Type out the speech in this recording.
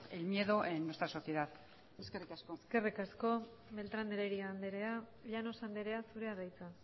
el miedo en nuestra sociedad eskerrik asko eskerrik asko beltrán de heredia andrea llanos andrea zurea da hitza